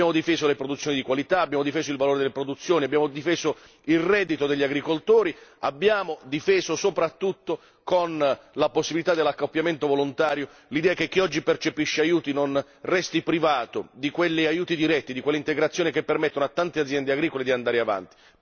Abbiamo difeso le produzioni di qualità e il loro valore, abbiamo difeso il reddito degli agricoltori, abbiamo difeso soprattutto con la possibilità dell'accoppiamento volontario l'idea che chi oggi percepisce aiuti non resti privato di quegli aiuti diretti e di quell'integrazione che permettono a tante aziende agricole di andare avanti.